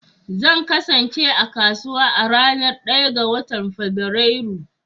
Zan kasance a kasuwa a ranar 1 ga Fabrairu.